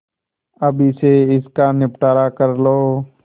अभी से इसका निपटारा कर लो